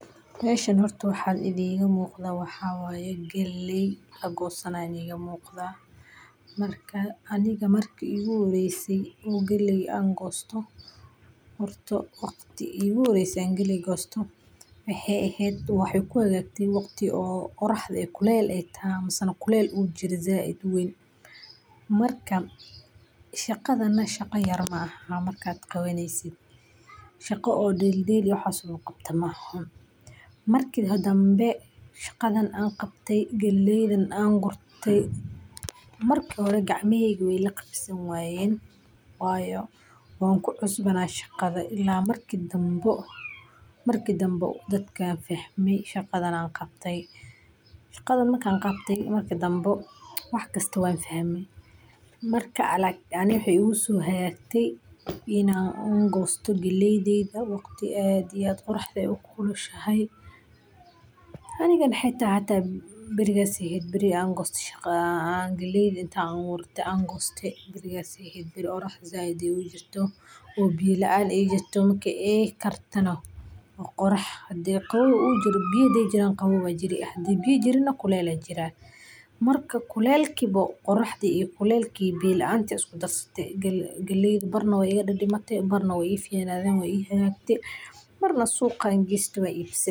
Howshan horta waxa iga muqda mxa waye galley lagosanaya aa iga muqda. Marka aniga marka igu horeysay oo galey an gosto ,waqti igu horesay oo an galey gosto waxey igu hagagte waqti qoraxda kulel ay tahay, misena kulel zaid u jiray marka shaqadana shaqa yar maaha marka aad qawaneysid shaqa oo dheldhel iyo waxas lagu qabto maahan. Marki danbe shaqadan an qabte galleydan an gurte , marki hore gacmaheyga wey la qab san wayen wayo wan ku cusbana shaqada ila marki danbo ,dadka fahmey ,shaqada ana qabtey shaqada markan qabtey marki danbe wax kasto wan fahme. Markan aniga iney igu so hagagte aniga wan goste galleydeyda oo waqti aad iyo aad oraxda ay u kulushahay barigas ay eheyd barigi intan galleyda aburte oo an goste, barigas ay ehed oo oraxdu zaid ay u jirto oo biyo laan ay jirto marka ay kartana waa qorax hadi biyo ay jirtana qawow aa jiri un hadey biyo jiirn kulel aa jirayo ,kulelka iyo biyo laanta isku darsate galleyda, barna wey iga didimate barna wey i ficnaden ii hagagte barna suqan geste oo ibsadhe.